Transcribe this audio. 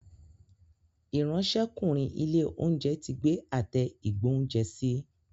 Ìráńṣẹ́kùnrin ilé-oúnjẹ tí gbé Àtẹ ìgbóúnjẹsí.